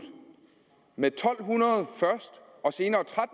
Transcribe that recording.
med to hundrede og senere